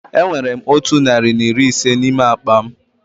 Enwere m otụ narị na iri ise n'ime akpa m